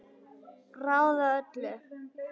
Ráða öllu?